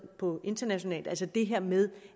på internationalt altså det her med